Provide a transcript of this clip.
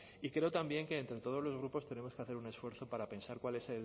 y creo también que entre todos los grupos tenemos que hacer un esfuerzo para pensar cuál es